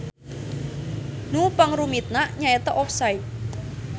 Nu pangrumitna nyaeta offside.